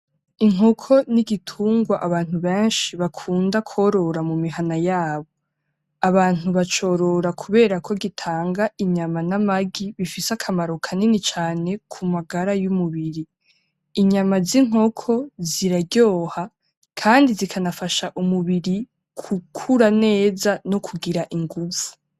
Inkoko n'igitungwa abantu benshi bakunda korora mumihana yabo. Abantu bacorora kubera ko gitanga inyama namagi bifise akamaro kanini cane kumagara yumubiri. Inyama z'inkoko ziraryoha kandi zikanafasha umubiri gukura neza nokugira inguvu.